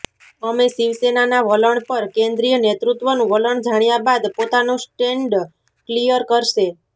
અમે શિવસેનાના વલણ પર કેન્દ્રીય નેતૃત્વનું વલણ જાણ્યા બાદ પોતાનું સ્ટેન્ડ ક્લિયર કરશે